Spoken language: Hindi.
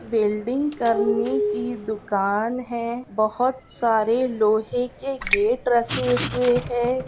वेल्डिंग करने की दुकान है बहुत सारे लोहे के गेट रखे हुए है।